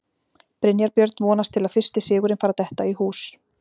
Brynjar Björn vonast til að fyrsti sigurinn fari að detta í hús.